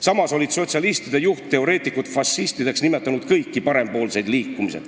" Samas olid sotsialistide juhtteoreetikud fašistideks nimetanud kõiki parempoolseid liikumisi.